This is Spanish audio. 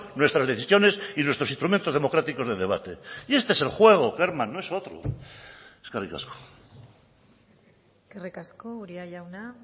nuestras decisiones y nuestros instrumentos democráticos de debate y este es el juego kerman no es otro eskerrik asko eskerrik asko uria jauna